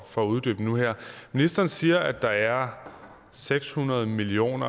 for uddybningen nu her ministeren siger at der er seks hundrede million